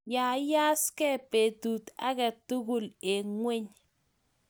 Yayasgei betut age tugul eng ngweny